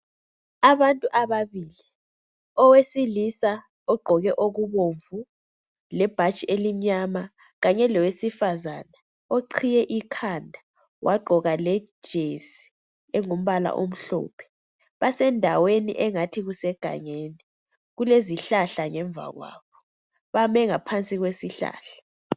Abantu ababili owesilisa ogqoke okubomvu lebhatshi elimnyama kanye lowesifazane oqhiye ikhanda wagqoka lejesi engumbala omhlophe basendaweni engathi kusegangeni kulezihlahla ngemva kwabo bame ngaphansi kwesihlahla.